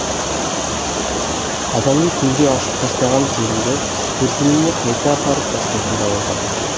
қазанын түнде ашып тастаған келінді төркініне қайта апарып тастайтын да болған